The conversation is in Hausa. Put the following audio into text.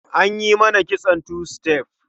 An yi mata kitson two step.